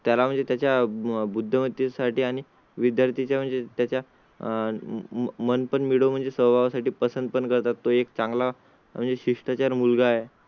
त्याला म्हणजे त्याच्या बुद्धिमत्ते साठी आणि विद्यार्थीच म्हणजे त्याच्या मन पण म्हणजे सर्वा साठी पसंत करतात तो एक चांगला म्हणजे शिष्टाचार मुलगा आहे.